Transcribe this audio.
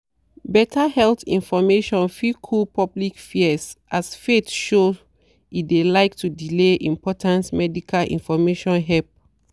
better health information fit cool public fears as faith show e de like to de delay important medical information help.